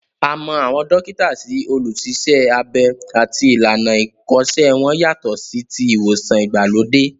A mọ àwọn dókítà sí olùṣiṣẹ́-abẹ àti ìlànà ìkọ́ṣẹ́ wọn yàtọ̀ sí ti ìwòsàn ìgbàlódé